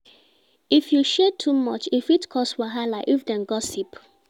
If you share too much, e fit cause wahala if dem gossip.